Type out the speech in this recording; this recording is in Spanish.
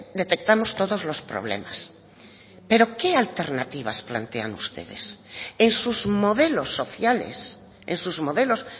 detectamos todos los problemas pero qué alternativas plantean ustedes en sus modelos sociales en sus modelos